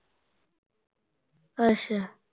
ਅੱਛਾ